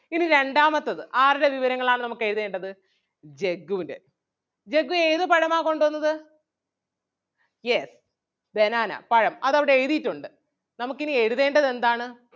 ഇനി രണ്ടാമത്തത് ആരുടെ വിവരങ്ങൾ ആണ് നമുക്ക് എഴുതേണ്ടത് ജഗ്ഗുൻ്റെ ജഗ്ഗു ഏത് പഴമാ കൊണ്ട് വന്നത് yes banana പഴം അത് അവിടെ എഴുതിയിട്ടുണ്ട് നമുക്ക് ഇനി എഴുതേണ്ടത് എന്താണ്?